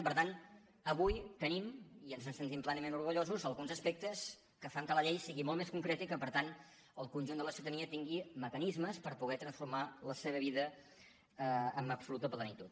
i per tant avui tenim i ens en sentim plenament orgullosos alguns aspectes que fan que la llei sigui molt més concreta i que per tant el conjunt de la ciutadania tingui mecanismes per poder transformar la seva vida amb absoluta plenitud